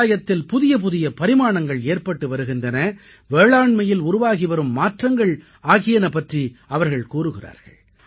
விவசாயத்தில் புதியபுதிய பரிமாணங்கள் ஏற்பட்டு வருகின்றன வேளாண்மையில் உருவாகிவரும் மாற்றங்கள் ஆகியன பற்றி அவர்கள் கூறுகிறார்கள்